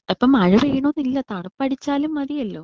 ഉം അപ്പോ മഴ പെയ്യണം ന്ന് ഇല്ല തണുപ്പടിച്ചാലും മതിയല്ലോ?